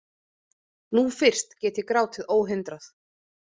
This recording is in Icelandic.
Nú fyrst get ég grátið óhindrað.